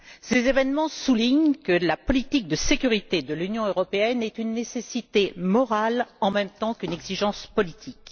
Ces événements soulignent que la politique de sécurité de l'Union européenne est une nécessité morale en même temps qu'une exigence politique.